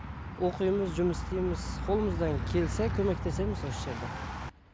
оқимыз жұмыс істейміз қолымыздан келсе көмектесеміз осы жерде